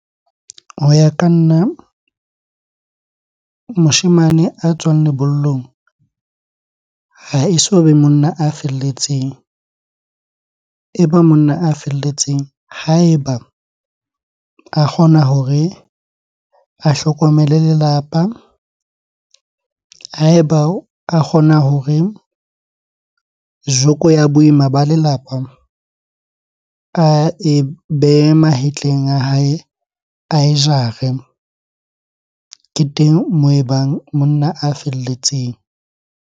Ho ya ka nna, moshemane a tswang lebollong ha e so be monna a felletseng. E ba monna a felletseng ha eba a kgona hore a hlokomele lelapa, ha eba a kgona hore joko ya boima ba lelapa ae behe mahetleng a hae, a jare. Ke teng moo e bang monna a felletseng.